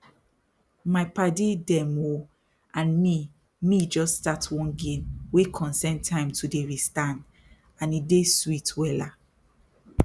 my padi dem ooohh and me me jus start one game wey concern time to dey restand e dey sweet wella